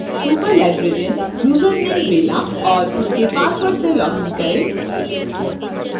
superlibrarian username bella और उसके password से login करें